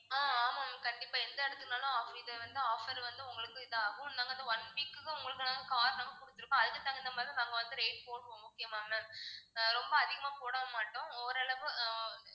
ஆஹ் ஆமா ma'am கண்டிப்பா எந்த இடத்துக்குன்னாலும் offer இது வந்து offer வந்து உங்களுக்கு இதாகும் நாங்க வந்து one week க்கு உங்களுக்கு நாங்க car நாங்க கொடுத்திருக்கோம் அதுக்கு தகுந்த மாதிரி நாங்க வந்து rate போடுவோம் okay வா ma'am ரொம்ப அதிகமா போடவும் மாட்டோம் ஓரளவு ஆஹ்